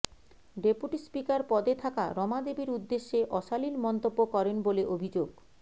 deputy speaker পদে থাকা রমা দেবীর উদ্দেশে অশালীন মন্তব্য করেন বলে অভিযোগ